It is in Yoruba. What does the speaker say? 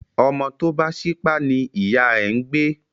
Ọmọ tó bá ṣípá ní ìyá ẹ̀ ń gbé